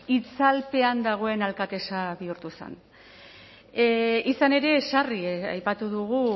itzalpean dagoen alkatesa bihurtu zen izan ere sarri aipatu dugu